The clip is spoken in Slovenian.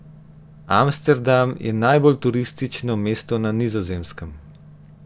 Amsterdam je najbolj turistično mesto na Nizozemskem.